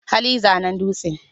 Hali zanen dutse.